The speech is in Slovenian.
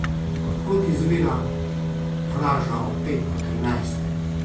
Od kod izvira vraža o petku trinajstem?